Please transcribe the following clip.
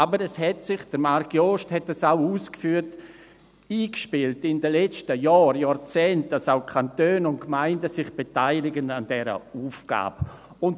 Aber es hat sich – Marc Jost hat das auch ausgeführt – in den letzten Jahren und Jahrzehnten eingespielt, dass auch die Kantone und Gemeinden sich an dieser Aufgabe beteiligen.